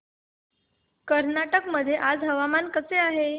कर्नाटक मध्ये आज हवामान कसे आहे